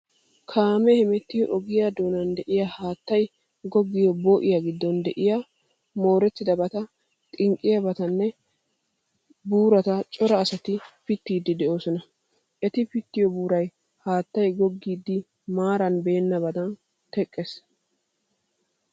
Kaame hemettiyo ogiyaa doonan de'iya haattay goggiyo boo'iyaa giddon de'iya moorettidabata, xinqqiyabatanne buurata cora asati pittiiddi de'oosona. Eti pittiyo buuray haattay goggidi maara beennaadan teqqiyaaga.